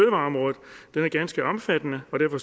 det er ganske omfattende og derfor